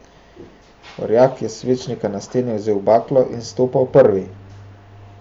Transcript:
Orjak je s svečnika na steni vzel baklo in stopal prvi.